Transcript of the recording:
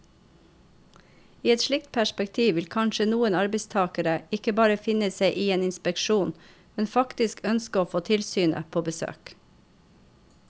I et slikt perspektiv vil kanskje noen arbeidstagere ikke bare finne seg i en inspeksjon, men faktisk ønske å få tilsynet på besøk.